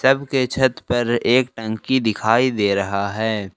के छत पर एक टंकी दिखाई दे रहा है।